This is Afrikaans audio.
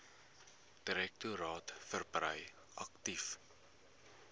direktoraat verbrei aktief